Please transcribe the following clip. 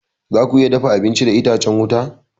Zaku iya dafa abinci da itacen wuta.